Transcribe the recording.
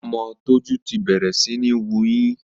Ọmọ Tójú ti bẹ̀rẹ̀ síní wuyín